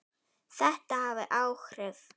Þetta hafði áhrif.